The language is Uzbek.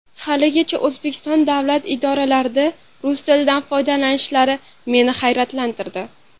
Haligacha O‘zbekiston davlat idoralarida rus tilidan foydalanishlari meni hayratlantirdi.